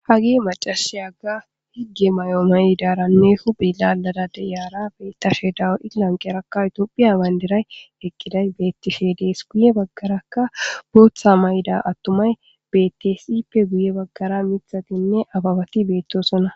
hageyi maccashiyakka higge mayo mayidaranne hu calaara diyara izi lanqerakka tophphiya banidira eqqiday bettishe dees guye baggarakka booththa mayda attumay betees ippe guye baggara mithatinne ababati beettosonna